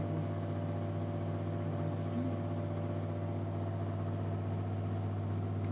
e oito o á í cinco